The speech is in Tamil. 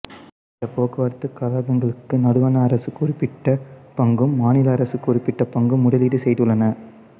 இந்தப் போக்குவரத்துக் கழகங்களுக்கு நடுவண் அரசு குறிப்பிட்ட பங்கும் மாநில அரசு குறிப்பிட்ட பங்கும் முதலீடு செய்துள்ளன